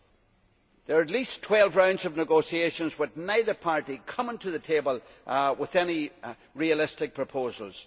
There have been at least twelve rounds of negotiations, with neither party coming to the table with any realistic proposals.